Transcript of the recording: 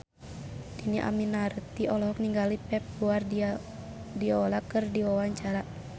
Dhini Aminarti olohok ningali Pep Guardiola keur diwawancara